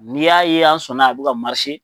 Ni y'a ye an sɔnna a bi ka